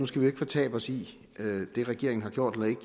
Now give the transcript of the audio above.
skal fortabe os i det regeringen har gjort eller ikke